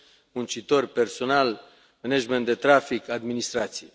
muncitori, personal, management de trafic, administrație.